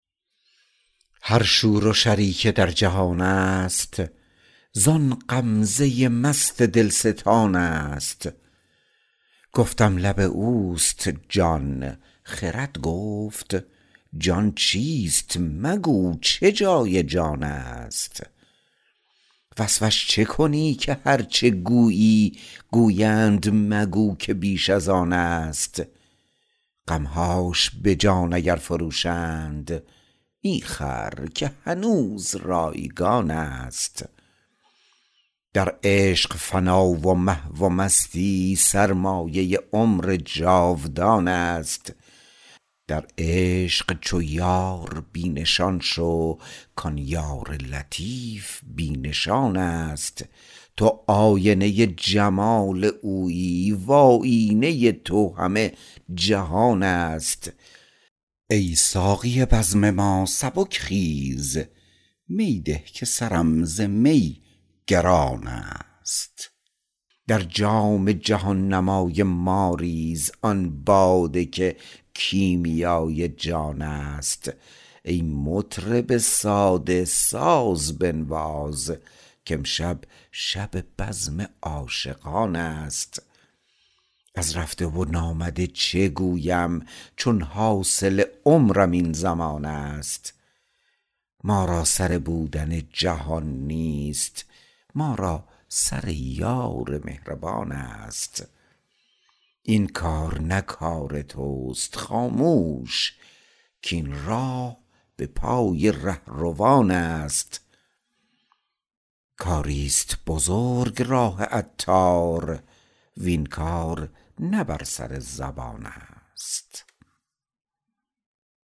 هر شور و شری که در جهان است زان غمزه مست دلستان است گفتم لب اوست جان خرد گفت جان چیست مگو چه جای جان است وصفش چه کنی که هرچه گویی گویند مگو که بیش از آن است غمهاش به جان اگر فروشند می خر که هنوز رایگان است در عشق فنا و محو و مستی سرمایه عمر جاودان است در عشق چو یار بی نشان شو کان یار لطیف بی نشان است تو آینه جمال اویی و آیینه تو همه جهان است ای ساقی بزم ما سبک خیز می ده که سرم ز می گران است در جام جهان نمای ما ریز آن باده که کیمیای جان است ای مطرب ساده ساز بنواز کامشب شب بزم عاشقان است از رفته و نامده چه گویم چون حاصل عمرم این زمان است ما را سر بودن جهان نیست ما را سر یار مهربان است این کار نه کار توست خاموش کاین راه به پای رهروان است کاری است بزرگ راه عطار وین کار نه بر سر زبان است